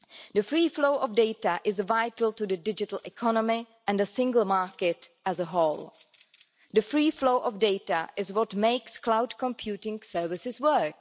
The free flow of data is vital to the digital economy and the single market as a whole. The free flow of data is what makes cloud computing services work.